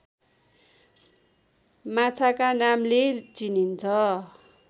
माछाका नामले चिनिन्छ